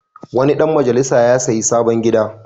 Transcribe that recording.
Wani ɗan majalisa ya sayi sabon gida.